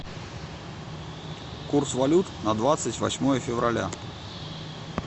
курс валют на двадцать восьмое февраля